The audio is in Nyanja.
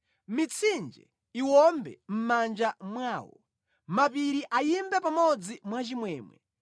Mitsinje iwombe mʼmanja mwawo, mapiri ayimbe pamodzi mwachimwemwe;